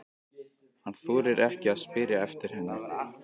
Hann þorir ekki að spyrja eftir henni.